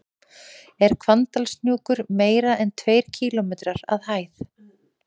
Er Hvannadalshnjúkur meira en tveir kílómetrar að hæð?